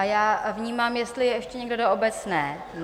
A já vnímám, jestli je ještě někdo do obecné?